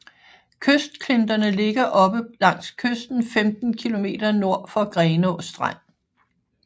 Kystklinterne ligger oppe langs kysten 15 kilometer nord for Grenaa Strand